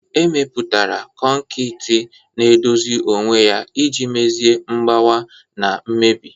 Emepụtara kọnkịtị na-edozi onwe ya iji mezie mgbawa na mmebi..